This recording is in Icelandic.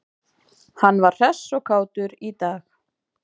Hann var hress og kátur í dag.